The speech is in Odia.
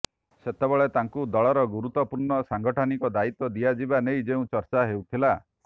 ସେତେବେଳେ ତାଙ୍କୁ ଦଳର ଗୁରୁତ୍ବପୂର୍ଣ୍ଣ ସାଂଗଠନିକ ଦାୟିତ୍ବ ଦିଆଯିବା ନେଇ ଯେଉଁ ଚର୍ଚ୍ଚା ହେଉଥିଲା